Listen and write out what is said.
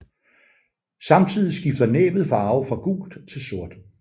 Samtidig skifter næbbet farve fra gult til sort